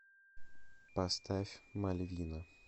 поставь мальвина